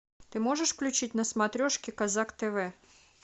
ты можешь включить на смотрешке казак тв